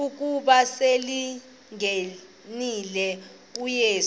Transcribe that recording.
ukuba selengenile uyesu